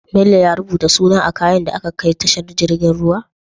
Bello ya rubuta suna a kayan da aka kai tashar jirgin ruwa?